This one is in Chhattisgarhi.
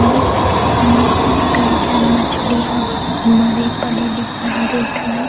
अऊ कई झन मछली ह मरे पड़े दिखाई देत हवे।